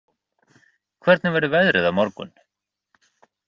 Leonardó, hvernig verður veðrið á morgun?